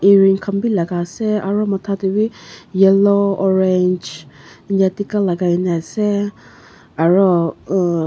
earring khan bi laga ase aru matha te wi yellow orange eneka tikka lagai ne ase aru.